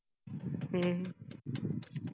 हम्म